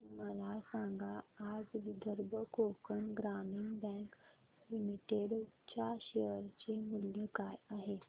मला सांगा आज विदर्भ कोकण ग्रामीण बँक लिमिटेड च्या शेअर चे मूल्य काय आहे